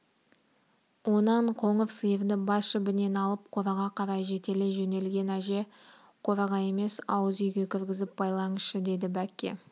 онан қоңыр сиырды бас жібінен алып қораға қарай жетелей жөнелген әже қораға емес ауыз үйге кіргізіп байлаңызшы деді бәкке